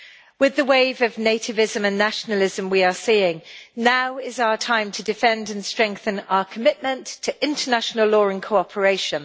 With the wave of nativism and nationalism we are seeing, now is our time to defend and strengthen our commitment to international law and cooperation.